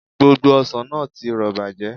Gbogbo ọsàn náà ti rọ̀ bàjẹ́